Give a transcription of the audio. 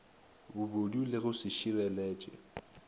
bobodu le go se šireletše